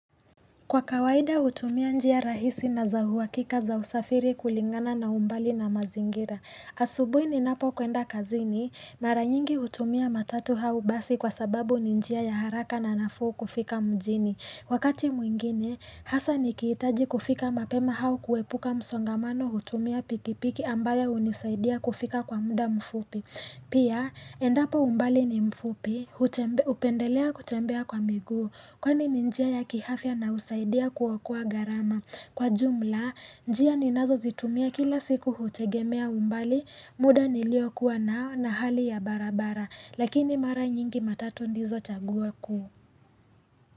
Kwa kawaida utumia njia rahisi na za huwakika za usafiri kulingana na umbali na mazingira asubuhi ni napo kwenda kazini, mara nyingi hutumia matatu au basi kwa sababu ni njia ya haraka na nafuu kufika mjini. Wakati mwingine, haswa ni kihitaji kufika mapema au kuepuka msongamano hutumia pikipiki ambayo hunisaidia kufika kwa muda mfupi Pia, endapo umbali ni mfupi, hupendelea kutembea kwa miguu, kwani ni njia ya kiafya na husaidia kuokoa gharama. Kwa jumla, njia ni nazo zitumia kila siku hutegemea umbali, muda niliokuwa nao na hali ya barabara, lakini mara nyingi matatu ndizo chaguo kuu.